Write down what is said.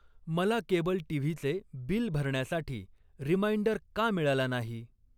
मला केबल टीव्हीचे बिल भरण्यासाठी रिमाइंडर का मिळाला नाही?